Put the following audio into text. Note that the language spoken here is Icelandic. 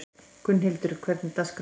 Gunnhildur, hvernig er dagskráin?